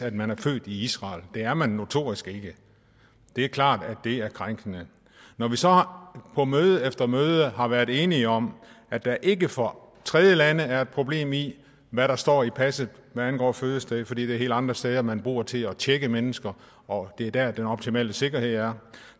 at man er født i israel det er man notorisk ikke det er klart at det er krænkende når vi så på møde efter møde har været enige om at der ikke for tredjelande er noget problem i hvad der står i passet hvad angår fødested fordi det er helt andre steder man bruger til at tjekke mennesker og det er der den optimale sikkerhed er